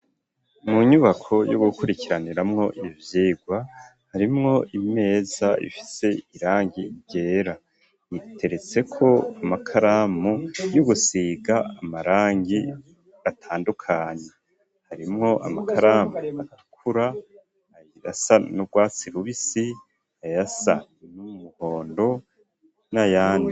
Mu nyubako y'ugukurikiraniramwo ivyigwa, harimwo imeza ifise irangi ryera, iteretseko amakaramu y’ugusiga amarangi atandukanye, harimwo amakaramu atukura, ayasa n'urwatsi rubisi, ayasa n'umuhondo, n'ayandi.